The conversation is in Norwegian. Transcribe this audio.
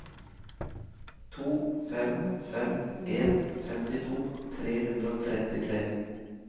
to fem fem en femtito tre hundre og trettitre